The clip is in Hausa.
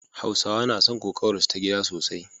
Hausawa na son kokawarsu ta gida sosai